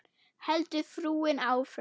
heldur frúin áfram.